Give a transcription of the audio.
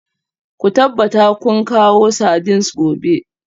Ku tabbata kun kawo sardines gobe